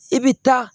I bɛ taa